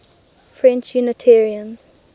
french unitarians